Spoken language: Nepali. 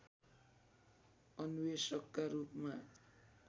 अन्वेषकका रूपमा